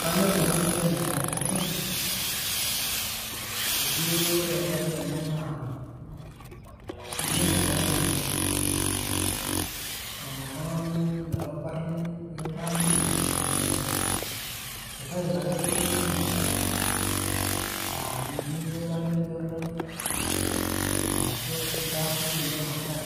Kanyor nanu pi enasiai amu, eji wore tadii ena naa kinyosi tadii ena. Naton oltung'ani metabarni, nikibarni eh sitail ake duo niyieu yie. Ah iyieu nikibarni Jordan, arashu kintaasi tinye masaj,